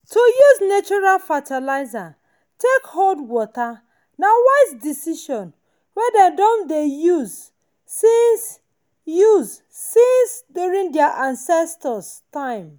to use natural fertilizer take hold water na wise decision wey dem don dey use since use since during their ancestors time.